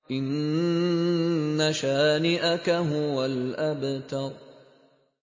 إِنَّ شَانِئَكَ هُوَ الْأَبْتَرُ